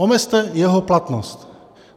Omezte jeho platnost.